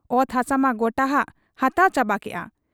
ᱚᱛ ᱦᱟᱥᱟᱢᱟ ᱜᱚᱴᱟᱟᱠᱚ ᱦᱟᱛᱟᱣ ᱪᱟᱵᱟ ᱠᱮᱜ ᱟ ᱾